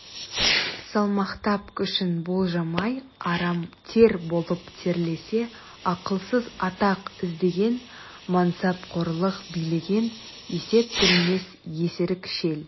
салмақтап күшін болжамай арам тер болып терлесе ақылсыз атақ іздеген мансапқорлық билеген есеп білмес есірік шел